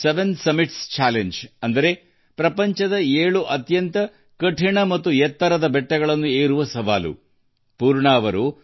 ಅದು ಏಳು ಶಿಖರಗಳ ಸವಾಲುಅದು ಏಳು ಅತ್ಯಂತ ಕಷ್ಟಕರವಾದ ಮತ್ತು ಅತಿ ಎತ್ತರದ ಕಡಿದಾದ ಪರ್ವತ ಶಿಖರಗಳನ್ನು ಏರುವ ಸವಾಲು